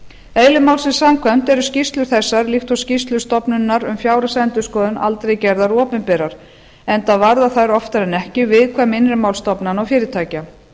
eðli málsins samkvæmt eru skýrslur þessar líkt og skýrslur stofnunarinnar um fjárhagsendurskoðun aldrei gerðar opinberar enda varða þær oftar en ekki viðkvæm innri mál stofnana og fyrirtækja